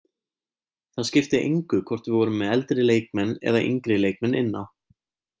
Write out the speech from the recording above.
Það skipti engu hvort við vorum með eldri leikmenn eða yngri leikmenn inn á.